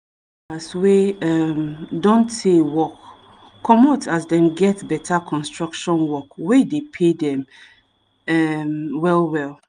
de workers wey um don tey work comot as dem get beta construction work wey dey pay um them well well